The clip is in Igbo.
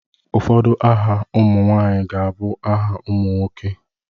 Ụfọdụ aha ụmụ nwanyị ga-abụ aha nwoke na nwaanyị.